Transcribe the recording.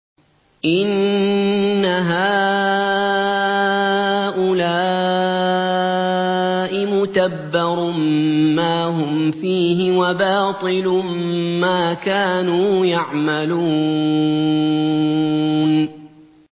إِنَّ هَٰؤُلَاءِ مُتَبَّرٌ مَّا هُمْ فِيهِ وَبَاطِلٌ مَّا كَانُوا يَعْمَلُونَ